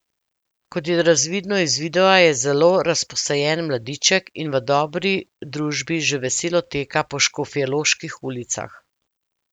Kot je razvidno iz videa je zelo razposajen mladiček in v dobri družbi že veselo teka po škofjeloških ulicah.